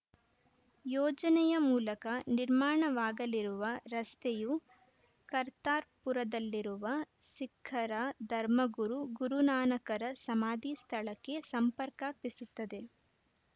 ಯೋಜನೆಯ ಮೂಲಕ ನಿರ್ಮಾಣವಾಗಲಿರುವ ರಸ್ತೆಯು ಕರ್ತಾರ್‌ಪುರದಲ್ಲಿರುವ ಸಿಖ್ಖರ ಧರ್ಮಗುರು ಗುರುನಾನಕರ ಸಮಾಧಿ ಸ್ಥಳಕ್ಕೆ ಸಂಪರ್ಕ ಕಲ್ಪಿಸುತ್ತದೆ